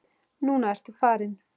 Núna ertu farinn.